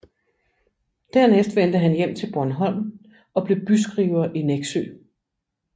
Dernæst vendte han hjem til Bornholm og blev byskriver i Nexø